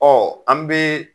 Ɔɔ an bi